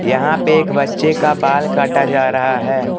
यहां पे एक बच्चे का बाल काटा जा रहा है।